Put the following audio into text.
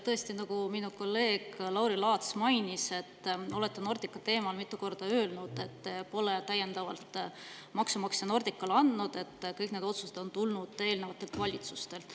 Tõesti, nagu minu kolleeg Lauri Laats mainis, olete te Nordica teemal mitu korda öelnud, et te pole täiendavalt maksumaksja Nordicale andnud, et kõik need otsused on tulnud eelnevatelt valitsustelt.